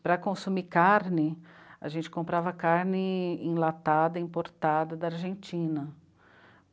Para consumir carne, a gente comprava carne enlatada, importada da Argentina.